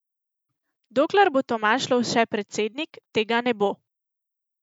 Dokler bo Tomaž Lovše predsednik, tega ne bo.